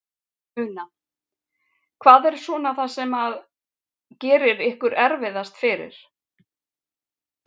Una: Hvað er svona það sem að gerir ykkur erfiðast fyrir?